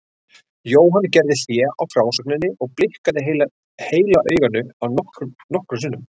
Jóhann gerði hlé á frásögninni og blikkaði heila auganu nokkrum sinnum.